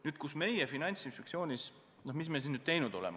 Nüüd, mida meie Finantsinspektsioonis teinud oleme?